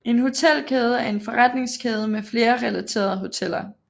En hotelkæde er en forretningskæde med flere relaterede hoteller